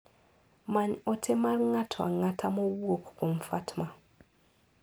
Many ote mar ng'ato ang'ata mowuok kuom Fatma.